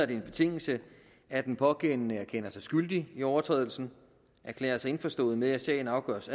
det en betingelse at den pågældende erkender sig skyldig i overtrædelsen og erklærer sig indforstået med at sagen afgøres